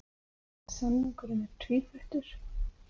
Samningurinn er tvíþættur